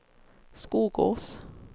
Skogås